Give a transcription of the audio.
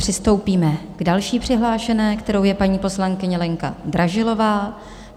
Přistoupíme k další přihlášené, kterou je paní poslankyně Lenka Dražilová.